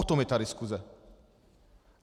O tom je ta diskuse.